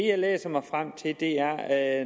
jeg læser mig frem til er at